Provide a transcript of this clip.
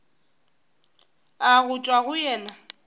a go tšwa go yena